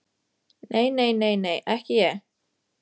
Nei, nei, nei, nei, ekki ég.